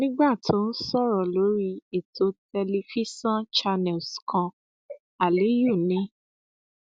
nígbà tó ń sọrọ lórí ètò tẹlifíṣàn channels kan aliyu ni